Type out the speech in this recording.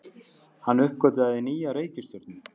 Hann uppgötvaði nýja reikistjörnu!